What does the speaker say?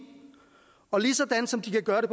og ligesom de kan gøre det